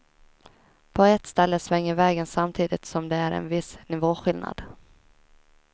På ett ställe svänger vägen samtidigt som det är en viss nivåskillnad.